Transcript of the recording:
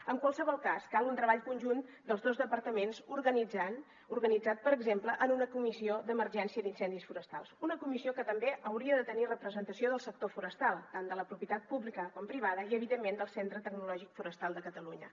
en qualsevol cas cal un treball conjunt dels dos departaments organitzat per exemple en una comissió d’emergència d’incendis forestals una comissió que també hauria de tenir representació del sector forestal tant de propietat pública com privada i evidentment del centre tecnològic forestal de catalunya